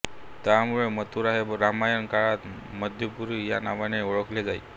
त्यामुळे मथुरा हे रामायण काळात मधुपुरी या नावाने ओळखले जाई